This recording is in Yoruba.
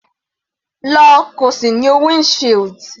Lọ, kí o sì nu wind shield.